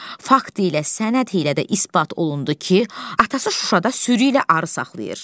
Fakt ilə sənəd ilə də isbat olundu ki, atası Şuşada sürü ilə arı saxlayır.